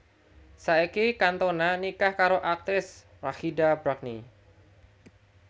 Saiki Cantona nikah karo aktris Rachida Brakni